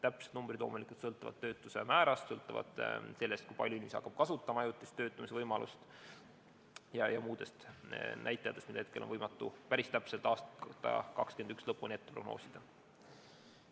Täpsed numbrid loomulikult sõltuvad töötuse määrast, sõltuvad sellest, kui palju inimesi hakkab kasutama ajutist töötamise võimalust, ja muudest näitajatest, mida on võimatu päris täpselt aasta 2021 lõpuni prognoosida.